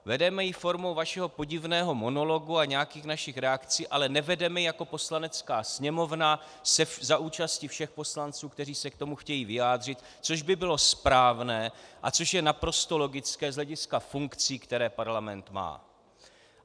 Vedeme ji formou vašeho podivného monologu a nějakých našich reakcí, ale nevedeme ji jako Poslanecká sněmovna za účasti všech poslanců, kteří se k tomu chtějí vyjádřit, což by bylo správné a což je naprosto logické z hlediska funkcí, které Parlament má.